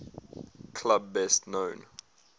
club best known